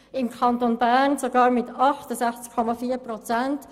Im Kanton Bern betrug der Nein-Anteil sogar 68,4 Prozent.